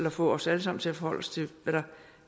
at få os alle sammen til at forholde os til hvad der